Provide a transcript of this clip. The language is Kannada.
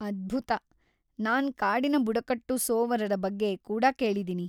ಅದ್ಭುತ! ನಾನ್‌ ಕಾಡಿನ ಬುಡಕಟ್ಟು ಸೋವರರ ಬಗ್ಗೆ ಕೂಡಾ ಕೇಳಿದೀನಿ.